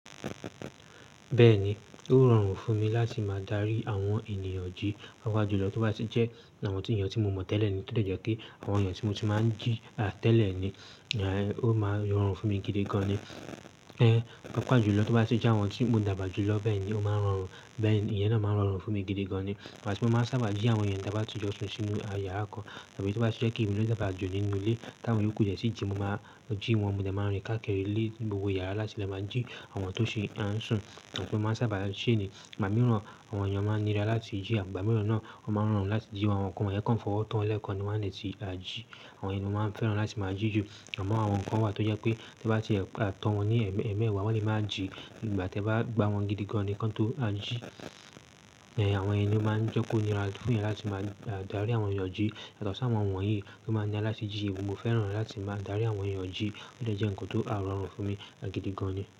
Bẹ́ẹ̀ni, ó rọrùn fún mi láti máa dárí àwọn ènìyàn jí papọ̀ julọ tó bá sì jẹ́ àwọn tí ènìyàn tí mo mọ̀ tẹ́lẹ̀ ni. Ó lẹ̀ jẹ́ pé àwọn ènìyàn tí mo ti máa ń jí tẹ́lẹ̀ ni, ó máa rọrùn fún mi gidi gan ni. Papọ̀ julọ tó bá tì jẹ́ àwọn tí mo dàgbà ju lọ bẹ́ẹ̀ yen ni ó máa rọrùn. Bẹ́ẹ̀ ni, ìyẹn náà máa rọrùn fún mi gidi gan ni. Ìgbá ti mo máa ń sábà jí àwọn ènìyàn nigbà ta ba ti jọ sún sínú yàrá kan tàbí tó bá tì jẹ́ pe mi ló dàgbà jù nínú ilé táwọn ìyo ku o de tí jí, mo máa jí wọn, mo dẹ̀ máa ń rìn káàkiri lé gbogbo yàrá láti le máa jí àwọn tó ṣi ń sùn. Ìgbá ti mo máa ń sábà ṣe ni, ìgbà mìíràn àwọn ènìyàn máa ń nira láti jí igbà mìíràn náà, o máa ń rọrùn láti jí àwọn kan fowo to wọ́n lẹ́ẹ̀kan ni wọ́n a lè ti ta jí. Àwọn yen ni mo máa ń fẹ́ràn láti máa jí ju. Àmọ́ àwọn kan wà tó jẹ́ pé tí e bá ti tọ́ wọn ní ẹ̀ẹ̀mẹwàá, wọ́n lè máa jí ìgbà tí ẹ bá gba wọn gidi gan ni wọ́n tó ta jí. Àwọn yen lo máa ń jẹ́ kó nira fún yan láti máa dárí àwọn ènìyàn jí. Yàtọ̀ sí àwọn wọ̀nyí tan máa ń nira láti jí, èmi mo fẹ́ràn láti máa dárí àwọn ènìyàn jí. Ó dẹ́ jẹ́ ǹkan tó rọrùn fún mi gidi gan ni.